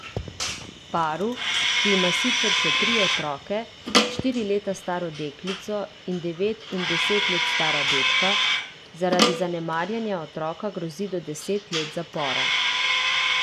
Paru, ki ima sicer še tri otroke, štiri leta staro deklico in devet in deset let stara dečka, zaradi zanemarjanja otroka grozi do deset let zapora.